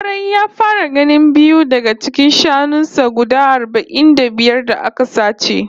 Kwarai, ya fara ganin biyu daga cikin shanun sa guda arba'in da biyar da aka sace